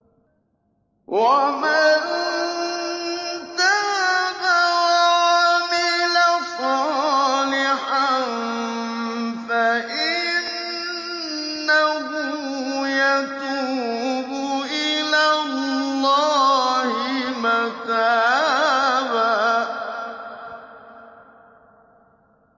وَمَن تَابَ وَعَمِلَ صَالِحًا فَإِنَّهُ يَتُوبُ إِلَى اللَّهِ مَتَابًا